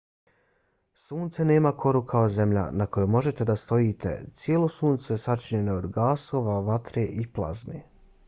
sunce nema koru kao zemlja na kojoj možete da stojite. cijelo sunce sačinjeno je od gasova vatre i plazme